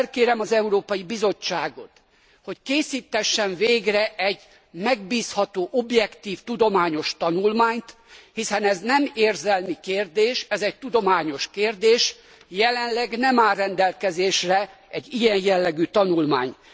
Felkérem az Európai Bizottságot, hogy készítessen végre egy megbízható, objektív tudományos tanulmányt, hiszen ez nem érzelmi kérdés, ez egy tudományos kérdés. Jelenleg nem áll rendelkezésre egy ilyen jellegű tanulmány.